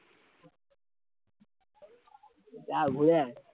যা ঘুরে আয়